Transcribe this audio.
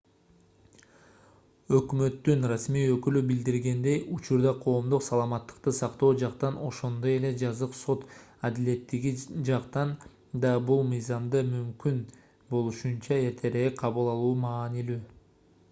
өкмөттүн расмий өкүлү билдиргендей учурда коомдук саламаттыкты сактоо жактан ошондой эле жазык сот адилеттиги жактан да бул мыйзамды мүмкүн болушунча эртерээк кабыл алуу маанилүү